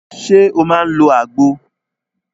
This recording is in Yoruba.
Ṣé o máà ń lọ àgbo?